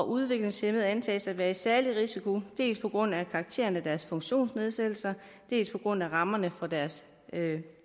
udviklingshæmmede antages at være særlig risiko dels på grund af karakteren af deres funktionsnedsættelser dels på grund af rammerne for deres